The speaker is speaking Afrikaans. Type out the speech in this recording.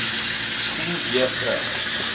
spoel weer terug